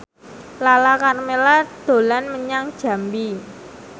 Lala Karmela dolan menyang Jambi